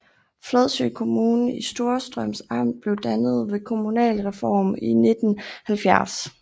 Fladså Kommune i Storstrøms Amt blev dannet ved kommunalreformen i 1970